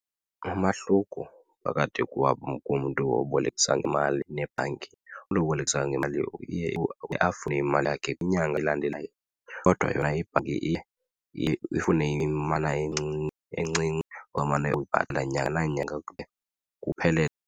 Umahluko phakatho komntu obolekisa ngemali nebhanki umntu obolekisa ngemali uye afune imali yakhe kwinyanga elandelayo, kodwa yona ibhanki iye iye ifune imali encinci omane uyibhatala nyanga nanyanga kude kuphelele.